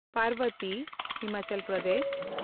Parbati (Himachal Pradesh)